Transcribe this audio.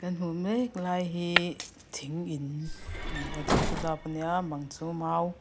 kan hmuh mek lai hi thing in a ni a a chung saw dap a nia a bang chu mau--